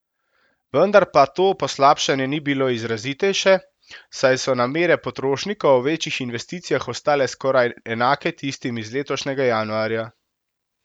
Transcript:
Vendar pa to poslabšanje ni bilo izrazitejše, saj so namere potrošnikov o večjih investicijah ostale skoraj enake tistim iz letošnjega januarja.